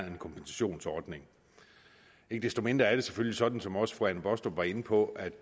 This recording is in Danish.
en kompensationsordning ikke desto mindre er det selvfølgelig sådan som også fru anne baastrup var inde på at